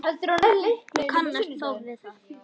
Hún kannast þó við það.